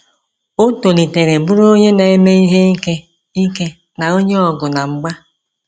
O tolitere bụrụ onye na-eme ihe ike ike na onye ọgụ na mgba.